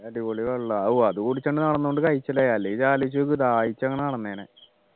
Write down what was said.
നല്ല അടിപൊളി വെള്ളമാ ഓ അത് കുടിച്ചോണ്ട് നടന്നുകൊണ്ട് കഴിച്ചലായി അല്ലെങ്കിൽ ആലോചിച്ചു നോക്ക് ദാഹിച്ചങ്ങനെ നടന്നേനെ